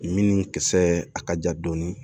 Min kisɛ a ka ja dɔɔni